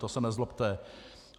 To se nezlobte.